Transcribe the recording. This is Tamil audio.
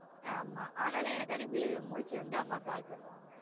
ஆமா அதுனால எனக்காண்டி முழுச்சுருந்து அம்மா call பண்ணுவாங்க